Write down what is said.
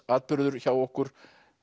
atburður hjá okkur